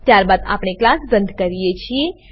ત્યારબાદ આપણે ક્લાસ બંધ કરીએ છીએ